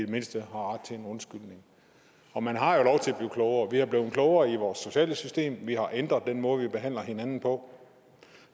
det mindste har ret til en undskyldning og man har jo blive klogere vi er blevet klogere i vores sociale system vi har ændret den måde vi behandler hinanden på